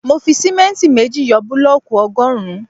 Mo fi símẹ́ntì méjì yọ búlọ̀kù ọgọrun